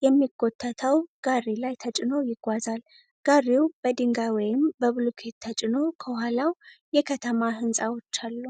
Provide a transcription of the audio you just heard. በሚጎተተው ጋሪ ላይ ተጭኖ ይጓዛል። ጋሪው በድንጋይ ወይም በብሎኬት ተጭኖ፣ ከኋላው የከተማ ህንጻዎች አሉ።